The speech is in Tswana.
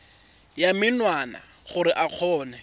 ya menwana gore o kgone